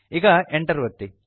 ಈಗ Enter ಒತ್ತಿ